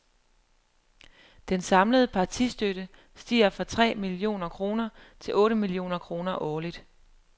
Den samlede partistøtte stiger fra tre et millioner kroner til otte millioner kroner årligt.